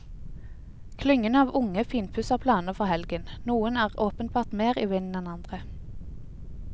Klyngene av unge finpusser planene for helgen, noen er åpenbart mer i vinden enn andre.